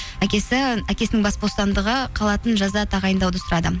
әкесінің бас бостандығы қалатын жаза тағайындауды сұрады